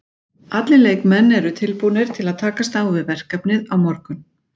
Allir leikmenn eru tilbúnir til að takast á við verkefnið á morgun.